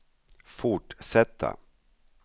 fortsätta